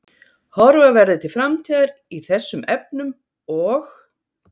Horfa verði til framtíðar í þessum efnum og?